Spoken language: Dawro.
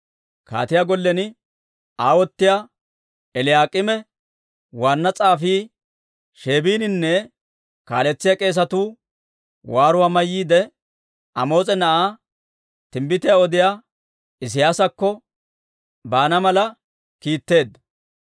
Kaatiyaa gollen aawotiyaa Eliyaak'iime, waanna s'aafii Sheebininne kaaletsiyaa k'eesatuu waaruwaa mayyiide, Amoos'a na'aa timbbitiyaa odiyaa Isiyaasakko baana mala kiitteedda.